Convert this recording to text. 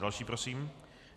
Další prosím.